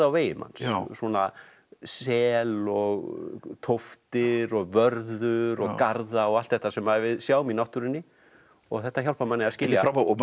vegi manns svona sel og tóftir og vörður og garða og allt þetta sem við sjáum í náttúrunni og þetta hjálpar manni að skilja